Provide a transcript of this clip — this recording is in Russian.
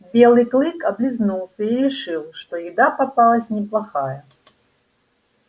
белый клык облизнулся и решил что еда попалась неплохая